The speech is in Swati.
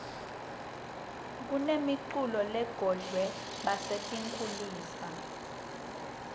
kunemi culo lelungore basetinkhulisa